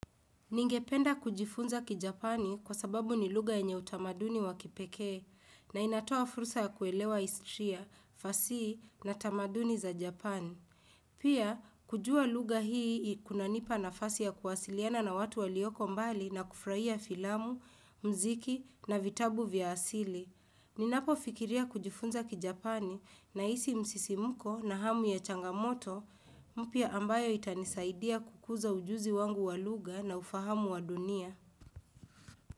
Ningependa kujifunza ki Japani kwa sababu ni lugha enye utamaduni wa kipekee na inatoa furusa ya kuelewa istria, fasi na tamaduni za Japani. Pia, kujua lugha hii kunanipa nafasi ya kuwasiliana na watu walioko mbali na kufraia filamu, mziki na vitabu vya asili. Ninapo fikiria kujufunza kijapani nahisi msisimko na hamu ya changamoto mpya ambayo itanisaidia kukuza ujuzi wangu walugha na ufahamu wa dunia.